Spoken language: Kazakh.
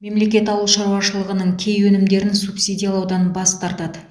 мемлекет ауыл шаруашылығының кей өнімдерін субсидиялаудан бас тартады